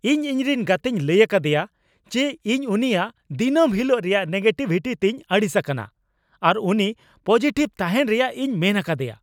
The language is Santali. ᱤᱧ ᱤᱧᱨᱮᱱ ᱜᱟᱛᱮᱧ ᱞᱟᱹᱭ ᱟᱠᱟᱫᱮᱭᱟ ᱡᱮ ᱤᱧ ᱩᱱᱤᱭᱟᱜ ᱫᱤᱱᱟᱹᱢ ᱦᱤᱞᱳᱜ ᱨᱮᱭᱟᱜ ᱱᱮᱜᱮᱴᱤᱵᱷᱤᱴᱤ ᱛᱮᱧ ᱟᱹᱲᱤᱥ ᱟᱠᱟᱱᱟ ᱟᱨ ᱩᱱᱤ ᱯᱚᱡᱤᱴᱤᱵᱷ ᱛᱟᱦᱮᱱ ᱨᱮᱭᱟᱜ ᱤᱧ ᱢᱮᱱ ᱟᱠᱟᱫᱮᱭᱟ ᱾